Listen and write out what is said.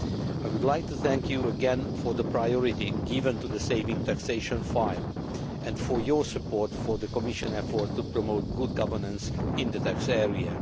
I would like to thank you again for the priority given to the savings taxation file and for your support for the Commission efforts to promote good governance in the tax area.